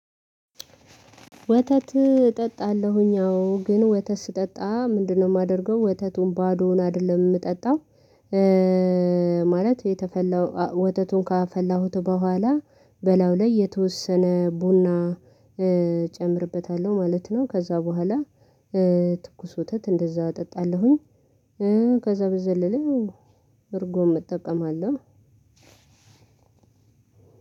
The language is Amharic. ወተት እጠጣለሁኝ አዎ ግን ወተት ስጠጣ ምንድነው? የማደርገው ወተቱን ባዶውን አይደለም የምጠጣው ማለት የተፈላው ወተቱን ካፈላሁት በኋላ በላው ላይ የተወሰነ ቡና እጨምርበታለሁ ማለት ነው። ከዛ በኋላ ትኩስ ወተት እንደዛ እጠጣለሁኝ። ከዛ በዘለለ እርጎም እጠቀማለሁ።